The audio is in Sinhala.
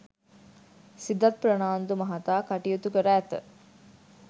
සිදත් ප්‍රනාන්දු මහතා කටයුතු කර ඇත